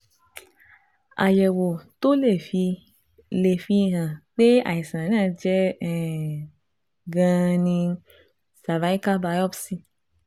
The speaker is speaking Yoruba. Àyẹ̀wò tó lè fi lè fi hàn pé àìsàn náà jẹ́ um gan-an ni cervical biopsy